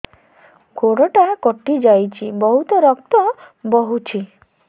ଗୋଡ଼ଟା କଟି ଯାଇଛି ବହୁତ ରକ୍ତ ବହୁଛି